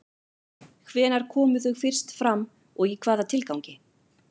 Hvenær komu þau fyrst fram og í hvaða tilgangi?